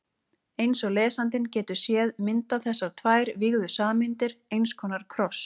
Eins og lesandinn getur séð mynda þessar tvær vígðu sameindir eins konar kross.